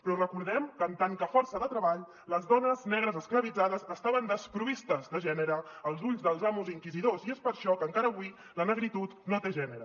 però recordem que en tant que força de treball les dones negres esclavitzades estaven desproveïdes de gènere als ulls dels amos i inquisidors i és per això que encara avui la negritud no té gènere